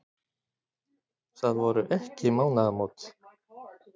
Það voru ekki mánaðamót.